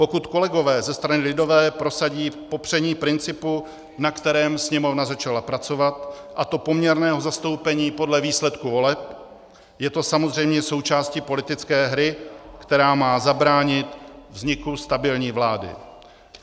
Pokud kolegové ze strany lidové prosadí popření principu, na kterém Sněmovna začala pracovat, a to poměrného zastoupení podle výsledku voleb, je to samozřejmě součástí politické hry, která má zabránit vzniku stabilní vlády.